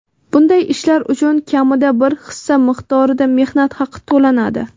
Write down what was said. bunday ishlar uchun kamida bir hissa miqdorida mehnat haqi to‘lanadi.